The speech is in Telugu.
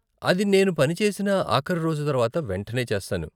అది నేను పని చేసిన ఆఖరి రోజు తర్వాత వెంటనే చేస్తాను.